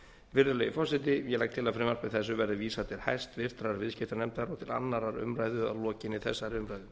virðulegi forseti ég legg til að frumvarpi þessu verði vísað til háttvirtrar viðskiptanefndar og til annarrar umræðu að lokinni þessari umræðu